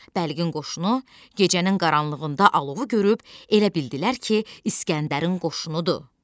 Bəlqin qoşunu gecənin qaranlığında alovu görüb elə bildilər ki, İsgəndərin qoşunudur.